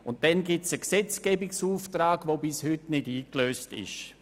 Und es gibt einen Gesetzgebungsauftrag, der bis heute nicht eingelöst ist.